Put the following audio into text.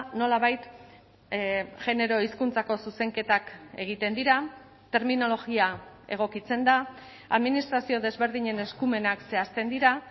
nolabait genero hizkuntzako zuzenketak egiten dira terminologia egokitzen da administrazio desberdinen eskumenak zehazten dira